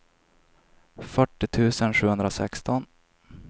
fyrtio tusen sjuhundrasexton